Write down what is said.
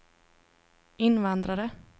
invandrare